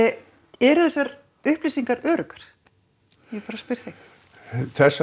eru þessar upplýsingar öruggar ég bara spyr þig þessar